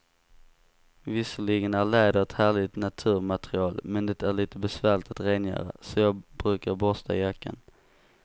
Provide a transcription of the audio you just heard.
Visserligen är läder ett härligt naturmaterial, men det är lite besvärligt att rengöra, så jag brukar borsta jackan.